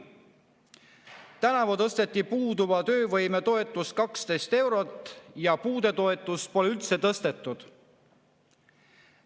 Tänavu tõsteti puuduva töövõime toetust 12 eurot ja puudetoetust pole üldse tõstetud.